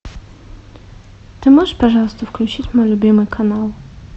ты можешь пожалуйста включить мой любимый канал